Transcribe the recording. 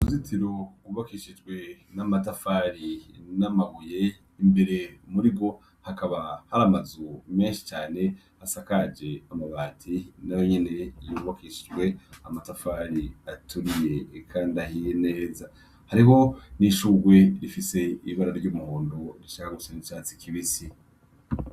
Uruzitiro gwubakishijwe amatafari n' amabuye imbere murigwo hakaba hari amazu menshi cane asakaje amabati nayo nyene yubakishijwe amatafari aturiye kandi ahiye neza hariho n' ishugwe rifise ibara ry' umuhondo rishaka gusa n' icatsi kibisi.